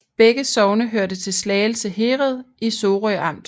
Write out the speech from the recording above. Begge sogne hørte til Slagelse Herred i Sorø Amt